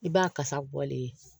I b'a kasa bɔlen ye